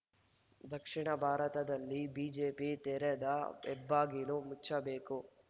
ದಕ್ಷಿಣ ಭಾರತದಲ್ಲಿ ಬಿಜೆಪಿ ತೆರೆದ ಹೆಬ್ಬಾಗಿಲು ಮುಚ್ಚಬೇಕು